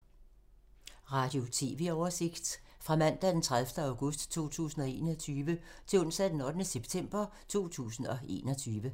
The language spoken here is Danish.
Radio/TV oversigt fra mandag d. 30. august 2021 til onsdag d. 8. september 2021